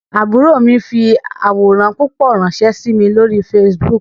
Àbúrò mi fi àwòrán púpọ̀ ránsẹ́ sí mi lórí Facebook